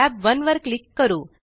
tab 1 वर click करू